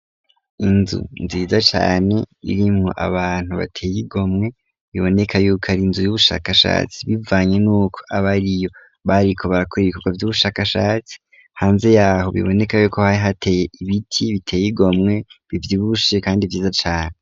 Inzu nziza cane irimwo abantu bateye igomwe, biboneka yuko ari inzu y'ubushakashatsi, bivanye nuko abariyo bariko barakora ibikogwa vy'ubushakashatsi, hanze y'aho biboneka yuko hari hateye ibiti biteye igomwe, bivyibushe kandi vyiza cane.